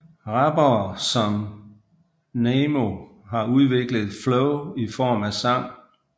Rappere som Namo har udviklet et flow i form af sang